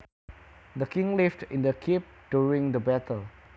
The king lived in the keep during the battle